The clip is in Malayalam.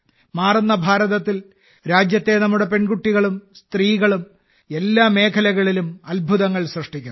മാറുന്ന ഭാരതത്തിൽ രാജ്യത്തെ നമ്മുടെ പെൺകുട്ടികളും സ്ത്രീകളും എല്ലാ മേഖലകളിലും അത്ഭുതങ്ങൾ സൃഷ്ടിക്കുന്നു